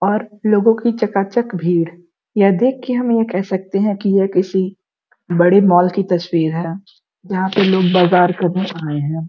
और लोगो की चकाचक भीड़ यह देख के हम यह कह सकते है की यह किसी बड़े मॉल की तस्वीर है। यहाँ पे लोग बाजार करने आये है।